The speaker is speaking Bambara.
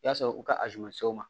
I y'a sɔrɔ u ka ma se u ma